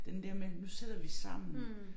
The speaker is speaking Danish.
Den der med nu sidder vi sammen